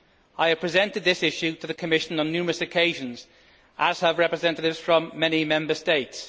I have presented this issue to the Commission on numerous occasions, as have representatives from many Member States.